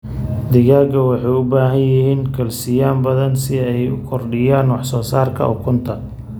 Digaagga waxay u baahan yihiin kalsiyum badan si ay u kordhiyaan wax soo saarka ukunta.